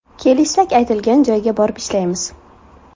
Kelishsak aytilgan joyga borib ishlaymiz.